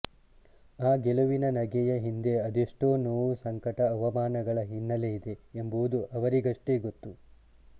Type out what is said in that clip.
ಆ ಗೆಲುವಿನ ನಗೆಯ ಹಿಂದೆ ಅದೆಷ್ಟೋ ನೋವು ಸಂಕಟ ಅವಮಾನಗಳ ಹಿನ್ನಲೆಯಿದೆ ಎಂಬುದು ಅವರಿಗಷ್ಟೇ ಗೊತ್ತು